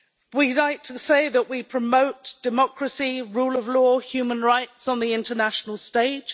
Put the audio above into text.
We'd like to say that we promote democracy, rule of law, human rights on the international stage.